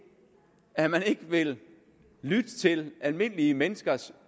at man ikke vil lytte til almindelige menneskers